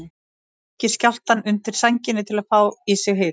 Hann ýkir skjálftann undir sænginni til að fá í sig hita.